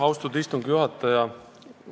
Austatud istungi juhataja!